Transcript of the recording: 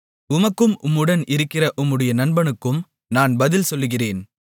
உமக்கும் உம்முடன் இருக்கிற உம்முடைய நண்பனுக்கும் நான் பதில் சொல்லுகிறேன்